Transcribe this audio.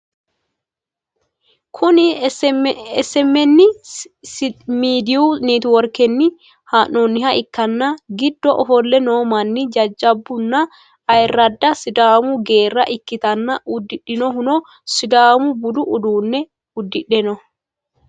Kuni smn midiyu networkenni ha'nnonniha ikkanna giddo offolle noo manni jajjabbu nna ayirradda sidaamu geerra ikkitanna udidhinohuno sidamu budu uduunne udidhe no.